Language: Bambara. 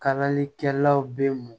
Kalalikɛlaw bɛ mun